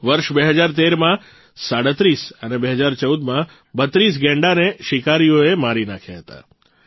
વર્ષ ૨૦૧૩માં ૩૭ અને ૨૦૧૪માં ૩૨ ગૈંડાને શિકારીઓએ મારી નાંખ્યા હતા